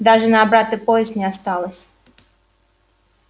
даже на обратный поезд не осталось